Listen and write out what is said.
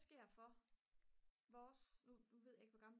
sker for vores nu ved jeg ikke hvor gammel